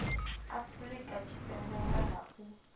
afrika tshipembe nga ha u